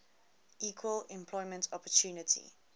equal employment opportunity